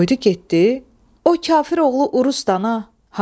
Qoydu getdi o kafiroğlu urusdana.